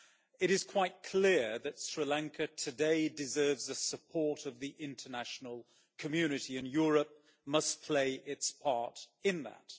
It is quite clear that Sri Lanka today deserves the support of the international community, and Europe must play its part in that.